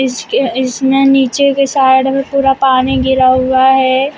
इसके इसमें नीचे के साइड में पूरा पानी गिरा हुआ है।